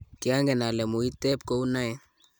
kiangen ale muiteb kou noe